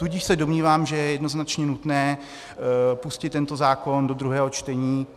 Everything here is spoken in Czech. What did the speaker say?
Tudíž se domnívám, že je jednoznačně nutné pustit tento zákon do druhého čtení.